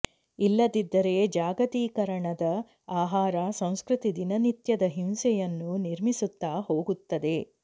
ಇಲ್ಲದಿದ್ದರೆ ಜಾಗತೀಕರಣದ ಆಹಾರ ಸಂಸ್ಕೃತಿ ದಿನನಿತ್ಯದ ಹಿಂಸೆಯನ್ನು ನಿರ್ಮಿಸುತ್ತಾ ಹೋಗುತ್ತದೆ